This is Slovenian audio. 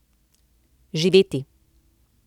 Živeti!